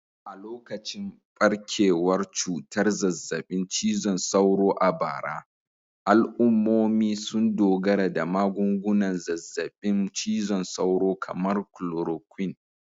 A lokacin barkewar cutar zazzabin cizon sauro a bara, al'ummomi sun dogara da magungunan zazzabin cizon sauro kamar chloroquine